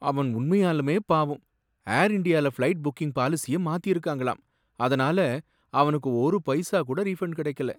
அவன் உண்மையாலுமே பாவம்! ஏர் இண்டியால ஃப்ளைட் புக்கிங் பாலிசிய மாத்திருக்காங்களாம், அதுனால அவனுக்கு ஒரு பைசா கூட ரீஃபன்ட் கிடைக்கல!